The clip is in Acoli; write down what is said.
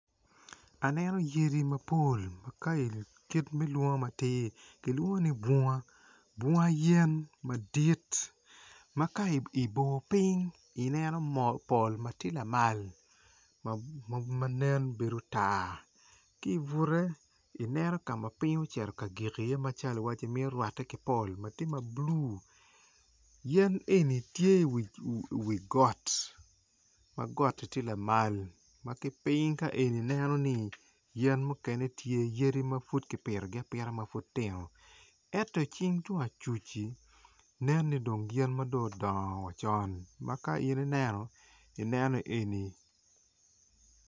Aneno yadi mapol ma ka eni kit me lwongo matir bunga yen madit ma ka ibor piny ineno pol ma tye lamal ma nen bedo tar ki ibute ineno ka ma piny ocito ka gik iye macalo iwaci mito rwate ki pol ma tye ma blu yen eni tye iwi got ma got-ti tye lamal ma ki piny ka eni ineno ni yen mukene tye yadi ma pud kipitogi apita ma pud tino ento ki tung acuc-ci nen ni dong yadi ma dong odongo wa conma ka in ineno ineno ni eni.